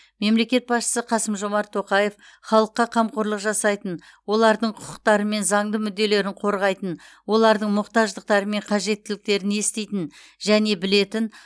мемлекет басшысы қасым жомарт тоқаев халыққа қамқорлық жасайтын олардың құқықтары мен заңды мүдделерін қорғайтын олардың мұқтаждықтары мен қажеттіліктерін еститін және білетін